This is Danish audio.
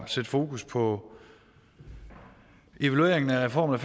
sætte fokus på evalueringen af reformen